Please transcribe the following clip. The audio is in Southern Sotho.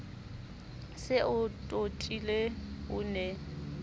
se e totile o ne